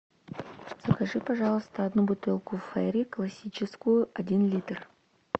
закажи пожалуйста одну бутылку фейри классическую один литр